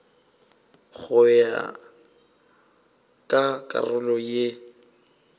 go ya ka karolo ye